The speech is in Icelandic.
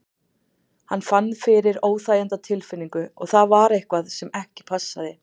Hann fann fyrir óþægindatilfinningu og það var eitthvað sem ekki passaði.